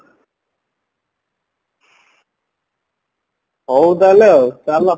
ହଉ ତାହାହେଲେ ଆଉ ଚାଲ